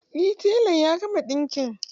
Eh telan ya gama ɗinki